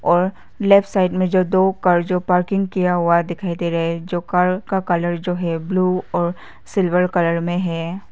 और left side में जो दो कार जो पार्किंग किया हुआ है दिखाई दे रहे हैं जो कार का कलर जो है ब्लू और सिल्वर कलर में है।